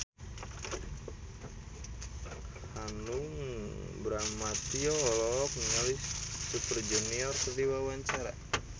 Hanung Bramantyo olohok ningali Super Junior keur diwawancara